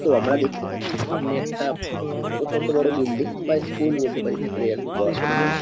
তো আমরা দেখতে পাচ্ছি সামনে একটা প্রচন্ড বড় বিল্ডিং বা স্কুল বলতে পারি ভিতরে আর কি পড়াশুনা হয়।